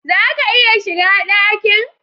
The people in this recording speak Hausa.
Zaka iya shiga dakin?